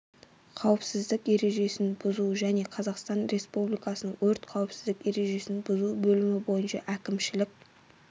қауіпсіздік ережесін бұзу және қазақстан республикасының өрт қауіпсіздік ережесін бұзу бөлімі бойынша әкімшілік